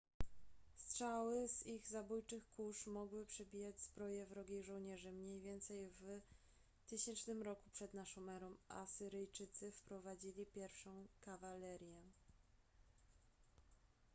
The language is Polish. strzały z ich zabójczych kusz mogły przebijać zbroje wrogich żołnierzy mniej więcej w 1000 r p.n.e. asyryjczycy wprowadzili pierwszą kawalerię